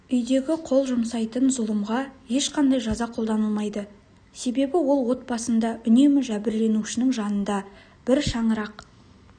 үйдегі қол жұмсайтын зұлымға ешқандай жаза қолданылмайды себебі ол отбасында үнемі жәбірленушінің жанында бір шаңырақ